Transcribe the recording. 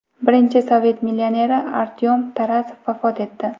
Birinchi sovet millioneri Artyom Tarasov vafot etdi.